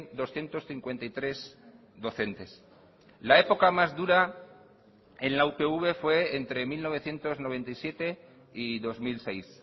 doscientos cincuenta y tres docentes la época más dura en la upv fue entre mil novecientos noventa y siete y dos mil seis